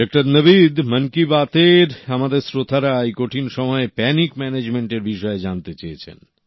doctor Navid Mann Ki Baat এর আমাদের শ্রোতারা এই কঠিন সময়ে প্যানিক ম্যানেজমেন্টের বিষয়ে জানতে চেয়েছেন